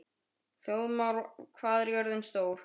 Þjóðmar, hvað er jörðin stór?